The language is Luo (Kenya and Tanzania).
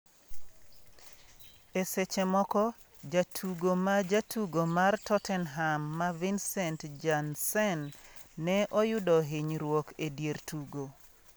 E seche moko, jatugo ma jatugo mar Tottenham ma Vincent Janssen ne oyudo hinyruok e dier tugo.